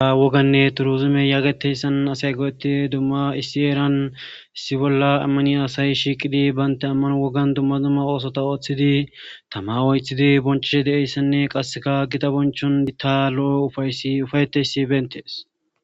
awoganne turuzime yaageteyssan asay go7etti dumma issi eeran issi bolla ammani asayi shiiqidi baynte amman wogan dumma dumma oosota ooththidi tama woythidi bonchishe de7eyssanne qasseka gita bonchon dita lo7o ufaysi ufayeteysi bentees